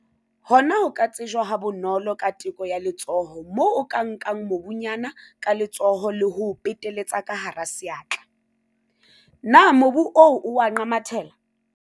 Hona ho ka tsejwa ha bonolo ka teko ya letsoho moo o ka nkang mobunyana ka letsoho le ho o peteletsa ka hara seatla. Na mobu oo o a nqamathela?